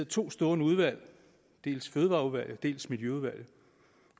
to stående udvalg dels fødevareudvalget dels miljøudvalget